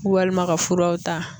Walima ka furaw ta